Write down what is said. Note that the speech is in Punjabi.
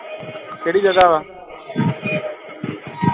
ਕਿਹੜੀ ਜਗਹ ਵਾ